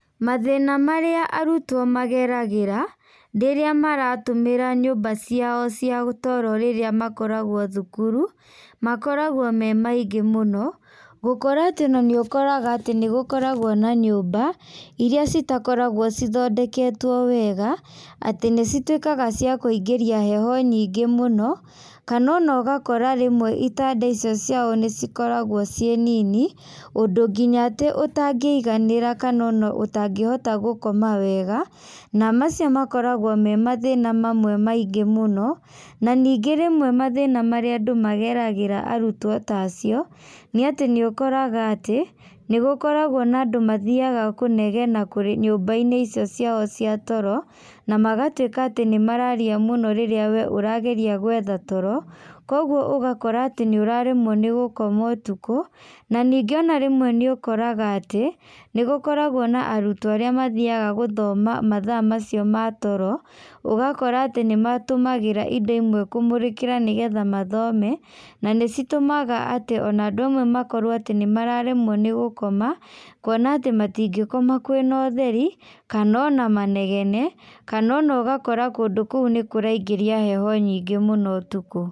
Mathĩna marĩa arutwo mageragĩra, rĩrĩa maratũmĩra nyũmba ciao cia toro rĩrĩa makoragwo thukuru, makoragwo me maingĩ mũno, gũkora atĩ ona nĩũkoraga atĩ nĩgũkoragwo na nyũmba, iria citakoragwo cithondeketwo wega, atĩ nĩcituĩkaga cia kuingĩria heho nyingĩ mũno, kana ona ũgakora rĩmwe itanda icio ciao nĩcikoragwo ciĩ nini, ũndũ nginya atĩ ũtangĩiganĩra kana ona otangĩhota gũkoma wega, na macio makoragwo me mathĩna mamwe maingĩ mũno, na ningĩ rĩmwe mathĩna marĩa andũ mageragĩra arutwo ta acio, nĩ atĩ nĩũkoraga atĩ, nĩgũkoragwo na andũ mathiaga kũnegena kũrĩ nyũmbainĩ icio ciao cia toro, namagatuĩka atĩ nĩmararia mũno rĩrĩa we ũrageria gwetha toro, koguo ũgakora atĩ nĩũraremwo nĩ gũkoma ũtukũ, na ningĩ ona rĩmwe nĩ ũkoraga atĩ nĩgũkoragwo na arutwo arĩa mathiaga gũthoma mathaa macio ma toro, ũgakora atĩ nĩmatũmagĩra indo imwe kũmũrĩkĩra nĩgetha mathome, na nĩcitũmaga atĩ ona andũ amwe makorwo atĩ nĩmaremwo nĩ gũkoma, kuona atĩ matingĩkoma kwĩna ũtheri, kana ona manegene, kana ona ũgakora kũndũ kũu nĩkũraigĩria heho nyingĩ mũno ũtukũ.